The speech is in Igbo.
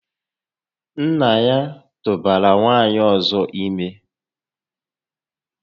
Nnà ya tụbara nwaanyị ọzọ ime